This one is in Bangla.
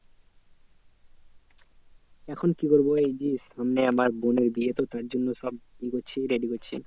এখন কি করবো এই যে সামনে আমার বোনের বিয়ে তো তার জন্য সব এ করছি ready করছি।